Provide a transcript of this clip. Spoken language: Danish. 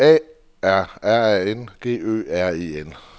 A R R A N G Ø R E N